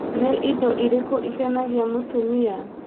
nĩ Indo ĩrĩkũ ikenagia mũtumia